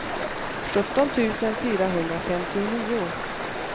sjutton tusen fyrahundrafemtionio